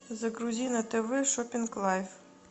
загрузи на тв шоппинг лайф